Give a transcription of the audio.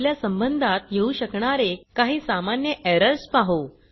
आपल्या संबंधात येऊ शकणारे काही सामान्य एरर्स पाहु